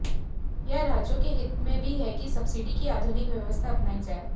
यह राज्यों के हित में भी है कि सब्सिडी की आधुनिक व्यवस्था अपनाई जाए